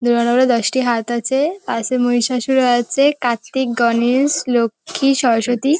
দুর্গা ঠাকুরের দশটি হাত আছে পাশে মহিষাসুর ও আছে কার্তিক গণেশ লক্ষ্মী সরস্বতী।